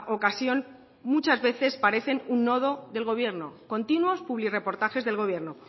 ocasión muchas veces parecen un nodo del gobierno continuos publirreportajes del gobierno